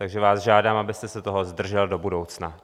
Takže vás žádám, abyste se toho zdržel do budoucna.